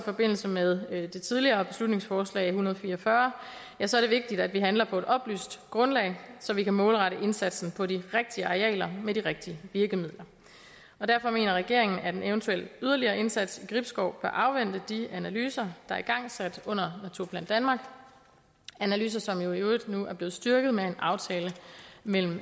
forbindelse med det tidligere beslutningsforslag b en hundrede og fire og fyrre så er det vigtigt at vi handler på et oplyst grundlag så vi kan målrette indsatsen på de rigtige arealer med de rigtige virkemidler derfor mener regeringen at en eventuel yderligere indsats i gribskov bør afvente de analyser der er igangsat under naturplan danmark analyser som jo i øvrigt nu er blevet styrket med en aftale mellem